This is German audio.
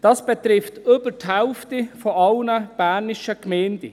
Dies betrifft über die Hälfte aller bernischen Gemeinden.